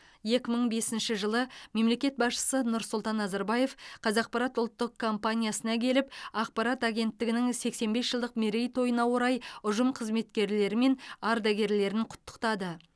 екі мың бесінші жылы мемлекет басшысы нұрсұлтан назарбаев қазақпарат ұлттық компаниясына келіп ақпарат агенттігінің сексен бес жылдық мерейтойына орай ұжым қызметкерлері мен ардагерлерін құттықтады